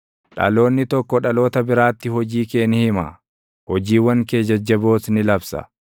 Dhaloonni tokko dhaloota biraatti hojii kee ni hima; hojiiwwan kee jajjaboos ni labsa.